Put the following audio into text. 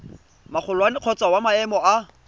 magolwane kgotsa wa maemo a